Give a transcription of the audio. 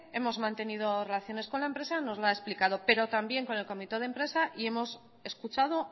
hemos mantenido relaciones con la empresa nos lo ha explicado pero también con el comité de empresa y hemos escuchado